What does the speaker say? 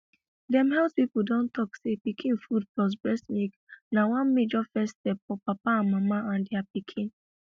dem health people don talk say pikin food plus breast milk na one major first step for papa mama and their pikin